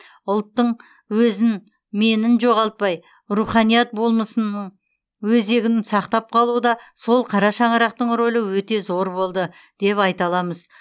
ұлттың өзін менін жоғалтпай руханият болмысының өзегін сақтап қалуда сол қара шаңырақтың рөлі өте зор болды деп айта аламыз